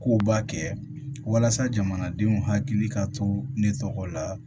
Kow b'a kɛ walasa jamanadenw hakili ka to ne tɔgɔ la